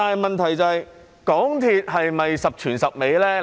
問題是，港鐵是否十全十美呢？